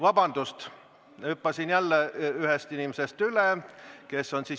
Vabandust, hüppasin jälle ühest inimesest üle.